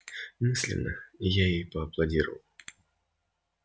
мысленно я ей поаплодировал